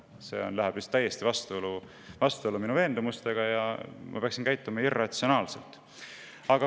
See läheb täiesti vastuollu minu veendumustega ja ma peaksin käituma irratsionaalselt.